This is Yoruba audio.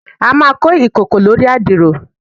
a ma ko ikoko lori adiro